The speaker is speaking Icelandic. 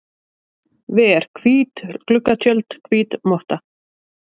ver, hvít gluggatjöld, hvít motta.